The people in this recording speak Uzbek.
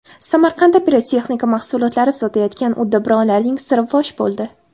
Samarqandda pirotexnika mahsulotlari sotayotgan uddaburonlarning siri fosh bo‘ldi.